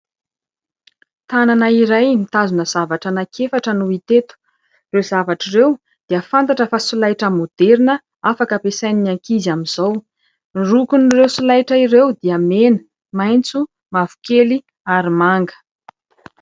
Tanana iray mitazona zavatra anankiefatra no hita eto ; ireo zavatra ireo dia fantatra fa solaitra maoderina afaka ampiasain'ny ankizy amin'izao. Ny lokon'ireo solaitra ireo dia : mena, maitso, mavokely ary manga.